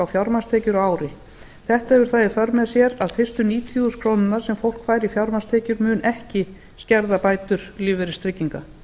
fjármagnstekjur á ári þetta hefur það í för með sér að fyrstu níutíu þúsund krónur sem fólk fær í fjármagnstekjur munu ekki skerða bætur lífeyristrygginga